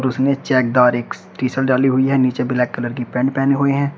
इसमें check T shirt डाली हुई है नीचे ब्लैक कलर की पैंट पहने हुए हैं।